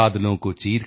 अभी तो सूरज उगा है